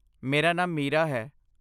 ਮੇਰਾ ਨਾਮ ਮੀਰਾ ਹੈ।